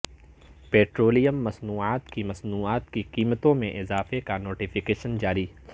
petroleum مصنوعات کی مصنوعات کی قیمتوں میں اضافے کا نوٹیفکیشن جاری